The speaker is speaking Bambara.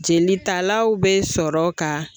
Jelitalaw be sɔrɔ ka